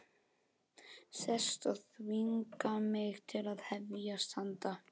Sest og þvinga mig til að hefjast handa.